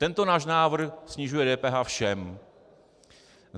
Tento náš návrh snižuje DPH všem.